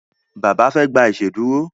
Bàbá fe gbà iṣeduro.